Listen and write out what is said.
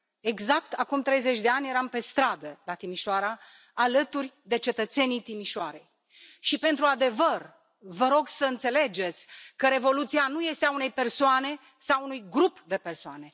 Exact acum 30 de ani, eram pe stradă, la Timișoara, alături de cetățenii Timișoarei și pentru adevăr, vă rog să înțelegeți că Revoluția nu este a unei persoane sau a unui grup de persoane.